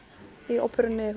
í óperunni